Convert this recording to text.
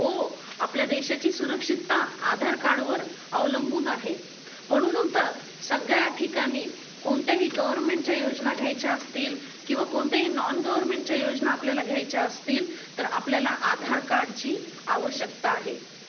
हो आपल्या देशाची सुरक्षितता आधार कार्ड वर अवलंबून आहे म्हणून तर सगळ्या ठिकाणी कोणत्याही गव्हर्नमेंट चा योजना घ्यायेचा असतील किंवा कोणत्याही नॉन गव्हर्नमेंटच्या योजना आपल्याला घ्यायच्या असतील तर आपल्याला आधार कार्डची आवश्यकता आहे.